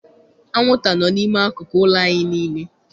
Anwụnta no n'ime akụkụ ụlọ anyị niile.